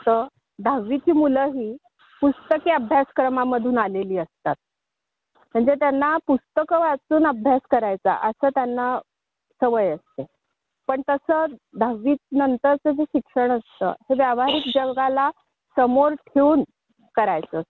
देणारा कोर्से किंवा पदवी घेतली तर हा प्रश्नच येणार नाही ना आणि ओमला कशामध्ये रस जास्त आहे तो खूप कशामध्ये जास्तो रमतो हे आपल्यला ऍप्टिट्यूड टेस्ट मधून लक्षात येईल.